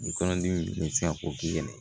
Ni kɔnɔdimi bɛ se ka k'o k'i yɛrɛ ye